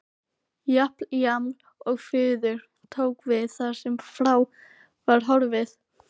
Japl-jaml-og-fuður tóku við þar sem frá var horfið.